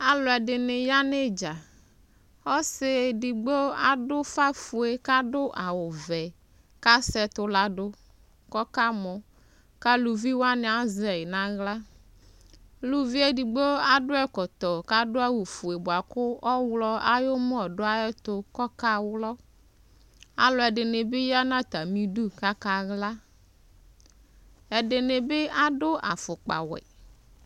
aloɛdini ya n'idza ɔse edigbo ado ufa fue k'ado awu vɛ k'asɛ ɛtò lado k'ɔka mɔ k'aluvi wani azɛ yi n'ala uluvi edigbo ado ɛkɔtɔ k'ado awu fue boa kò ɔwlɔ ayi umɔ do ayɛto k'ɔka wlɔ aloɛdini bi ya n'atami du k'aka la ɛdini bi ado afukpa wɛ